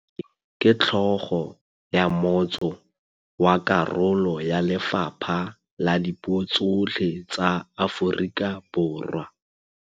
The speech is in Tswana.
Tlaleng ke tlhôgô ya motsô wa karolo ya lefapha la dipuô tsotlhe tsa Aforika Borwa.